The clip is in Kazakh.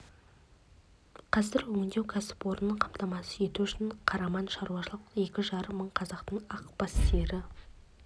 қазір өңдеу кәсіпорнын қамтамасыз ету үшін қараман-к шаруашылығында екі жарым мың қазақтың ақ бас сиыры